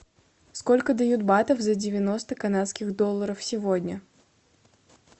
сколько дают батов за девяносто канадских долларов сегодня